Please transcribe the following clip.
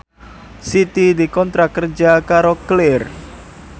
Siti dikontrak kerja karo Clear